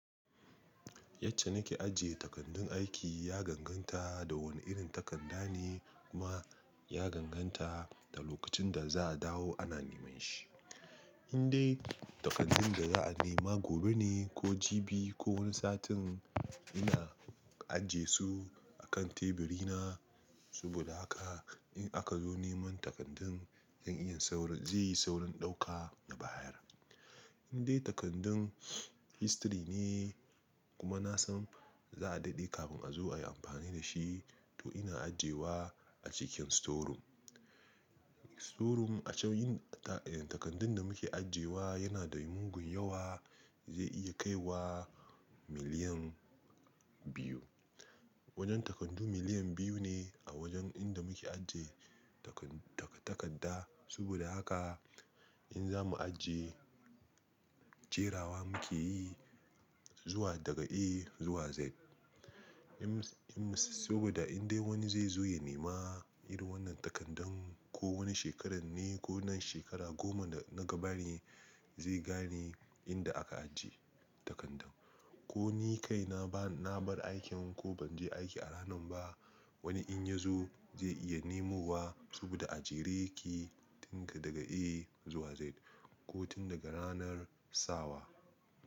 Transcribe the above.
Yacce nake ajiye takardun aiki ya ganganta da wane irin takarda ne kuma ya ganganta da lokacin da za a dawo ana neman shi. In dai takardun da za'a nema gobe ne ko jibi ko wani satin ina aje su akan teburi na, saboda haka in aka zo neman takardun zan iya saurin zai yi saurin ɗauka da bayar. In dai takardun history ne kuma na san za a daɗe kafin a zo ayi amfani da shi to ina ajiyewa a cikin storum. Storum a cikin takardun da muke ajiyewa yana da mugun yawa zai iya kaiwa miliyan biyu. Wajen takardu miliyan biyu ne a wajen inda muke ajiye tak-tak-takadda saboda haka in za mu ajiye, jerawa muke yi zuwa daga A zuwa Z. In-in saboda in dai wani zai zo ya nema irin wannan takardan ko wani shekaran ne ko nan shekara goma da na gaba ne zai gane inda aka ajiye takardan. Ko ni kai na ba-na bar aikin ko ban je aiki a ranan ba wani in ya zo zai iya nemuwa saboda ajere ki tinka daga A zuwa Z ko tun daga ranar sawa.